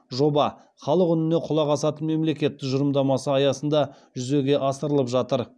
жоба халық үніне құлақ асатын мемлекет тұжырымдамасы аясында жүзеге асырылып жатыр